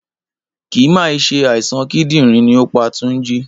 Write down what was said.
Kì mà í se àìsàn kídìrín ni ó pa Tunji.